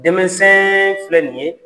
Dɛmɛsɛɛn filɛ nin ye